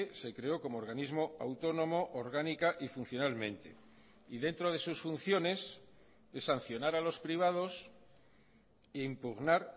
se creó como organismo autónomo orgánica y funcionalmente y dentro de sus funciones es sancionar a los privados e impugnar